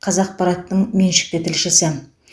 қазақпараттың меншікті тілшісі